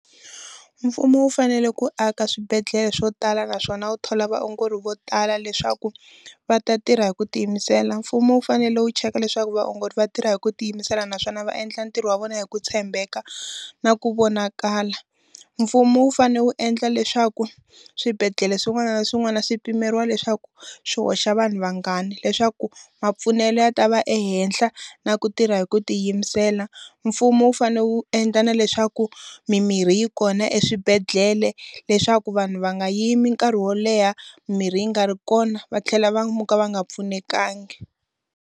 Mfumo wu fanele ku aka swibedhlele swo tala naswona ku thola vaongori vo tala leswaku, va ta tirha hi ku tiyimisela. Mfumo wu fanele wu cheka leswaku vaongori va tirha hi ku tiyimisela naswona va endla ntirho wa vona hi ku tshembeka, na ku vonakala. Mfumo wu fanele wu endla leswaku swibedhlele swin'wana na swin'wana swi pimeriwa leswaku swi hoxa vanhu vangani leswaku mapfunele ya ta va ehenhla na ku tirha hi ku ti yingisela. Mfumo wu fanele wu endla na leswaku mimirhi yi kona eswibedhlele leswaku vanhu va nga yimi nkarhi wo leha mirhi yi nga ri kona, va tlhela va muka va nga pfunekangi.